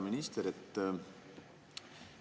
Härra minister!